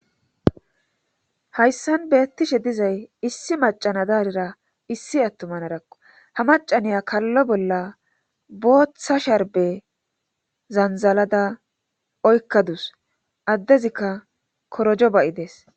Hayssan beettishe dizay issi macana daarira issi attomanadakko ha macaniya kallo bolla booththa sharbe zanzalada oykkadus addezikka korojo bayides